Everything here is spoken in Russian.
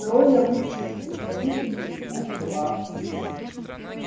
трое лучших представителей из двух классов